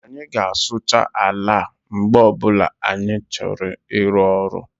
Anyị ga-asụcha ala mgbe ọbula anyị chọrọ ịru ọrụ